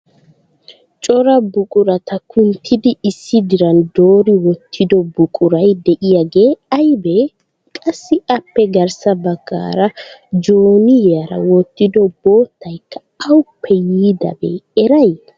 Cora buqurata kunttidi issi diran doori wottido buquray de'iyaage aybbe? Qassi appe garssa baggaara jooniyaara wottido boottaykka awuppe yiidabe eray?